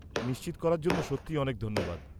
-নিশ্চিত করার জন্য সত্যিই অনেক ধন্যবাদ।